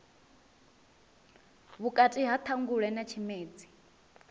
vhukati ha ṱhangule na tshimedzi